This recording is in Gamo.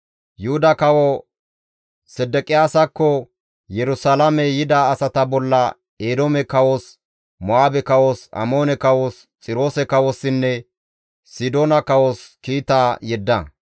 Yuhuda kawo Sedeqiyaasakko Yerusalaame yida asata bolla Eedoome kawos, Mo7aabe kawos, Amoone kawos, Xiroose kawossinne Sidoona kawos kiita yedda.